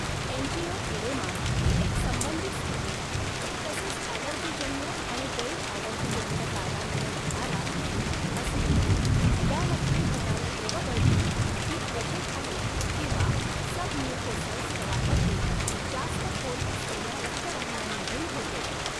Angioedema ही एक संबंधित स्थिती, तसेच अॅलर्जीजन्य आणि गैर अॅलर्जिजन्य कारणांमुळे होणारा, असली तरी, यामध्ये होणारी द्रव गळती ही त्वचेखालील किंवा सबम्यूकोसल स्तरांमधील जास्त खोल असलेल्या रक्तवाहिन्यांमधून होते.